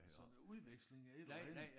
Sådan udveksling et eller andet